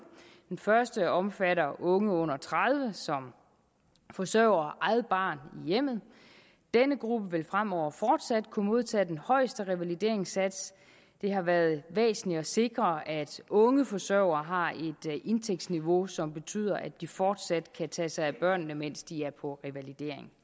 den første undtagelse omfatter unge under tredive år som forsørger eget barn i hjemmet denne gruppe vil fremover fortsat kunne modtage den højeste revalideringssats det har været væsentligt at sikre at unge forsørgere har et indtægtsniveau som betyder at de fortsat kan tage sig af børnene mens de er på revalidering